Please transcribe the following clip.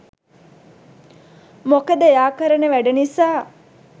මොකද එයා කරන වැඩ නිසා